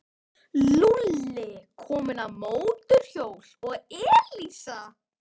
Lúlli kominn á mótorhjól og Elísa.